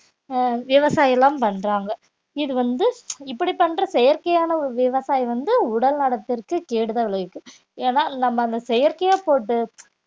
அஹ் விவசாயம் எல்லாம் பண்றாங்க இது வந்து இப்படி பண்ற செயற்கையான ஒரு விவசாயம் வந்து உடல் நலத்திற்கு கேடுதான் விளைவிக்கும் ஏன்னா நம்ம அந்த செயற்கையா போட்டு